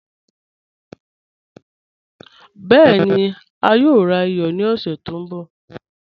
Bẹẹ̀ni, a yòò rà iyọ̀ ní ọ̀ṣẹ̀ tó nbọ̀